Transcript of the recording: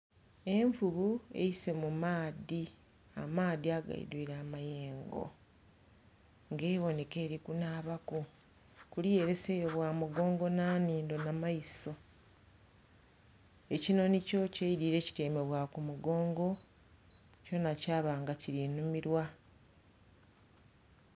Envubu eisee mu maadhi amaadhi ageidhuire amayengo nga ebionhek aeri kunhaba ku, kuliya ereseyo mugongo nha nhindho nha maiso. Ekinhonhi kyo kyeidhidhire kityaime bwa ku mugongo kyona kyaba nga kiri nhumirwa.